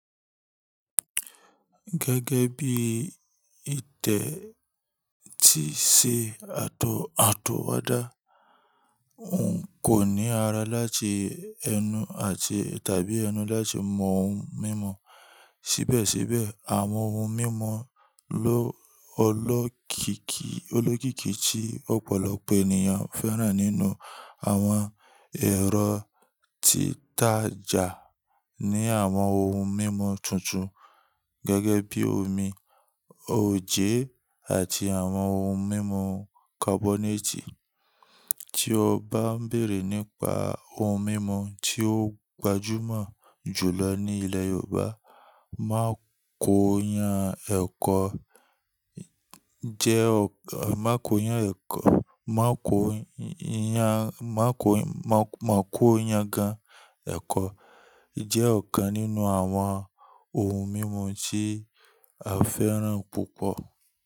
Gẹ́gẹ́ bí ìtẹ̀ tí ṣe àtọ̀wọ́dá, ohun kò ní ara láti ẹnu tàbí ẹnu láti mọ ohun mímu. Síbẹ̀síbẹ̀, àwọn ohun mímu olókìkí tí ọ̀pọ̀lọpọ̀ ènìyàn fẹ́ràn nínú àwọn ẹrọ títajà ní àwọn ohun mímu tútù gẹ́gẹ́ bí omi, oje àti àwọn ohun mímu kabonẹti. Tí o bá ń bèrè nípa ohun mímu tí ó gbajúmọ̀ jù lọ ní ilẹ̀ Yorùbá, mákóyan gan ẹ̀kọ jẹ́ ọ̀kan nínú àwọn ohun mímu tí a fẹ́ràn púpọ̀.